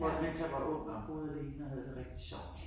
Mens jeg var ung og boede alene og havde det rigtig sjovt